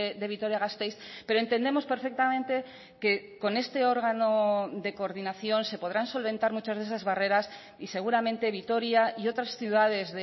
de vitoria gasteiz pero entendemos perfectamente que con este órgano de coordinación se podrán solventar muchas de esas barreras y seguramente vitoria y otras ciudades